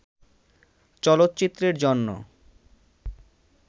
চলচ্চিত্রের জন্য